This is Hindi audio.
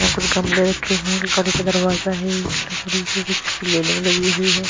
यहां कुछ गमले रखे हुए हैं का दरवाजा है लकड़ी की कुछ लगी हुई है।